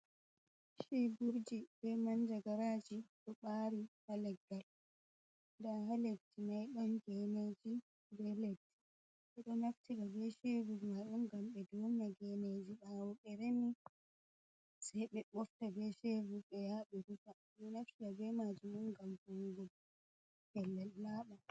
Cheiburji be manjagaraji ɗo ɓaari ha leggal, nda ha leddi mai ban geneji be leddi ɓeɗo naftira be shevul majun ngam ɓe duna geneji ɓawo ɓe remi, sei ɓe bofta be shevul ɓe yaha be rufa, ɗo naftira be majum on ngam voungo pellel naba.